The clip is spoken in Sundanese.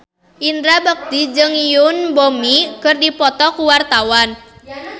Indra Bekti jeung Yoon Bomi keur dipoto ku wartawan